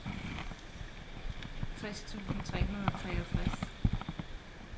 tres tusind tre hundrede og treogtres